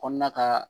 Kɔnɔna ka